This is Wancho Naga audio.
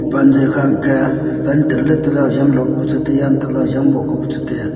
pan ji kha ang ka pan hujang lo ka bu chu tai a antoh leh hujang moh ka bu chu tai a.